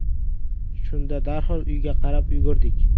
Shunda darhol uyga qarab yugurdik.